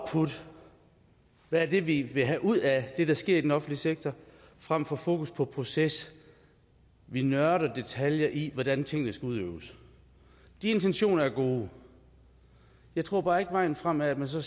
hvad det er vi vil have ud af det der sker i den offentlige sektor frem for fokus på proces vi nørder detaljer i hvordan tingene skal udøves de intentioner er gode jeg tror bare ikke at vejen frem er at man så